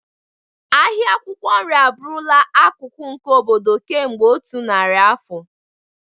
Ahịa akwụkwọ nri abụrụla akụkụ nke obodo kemgbe ọtụtụ narị afọ.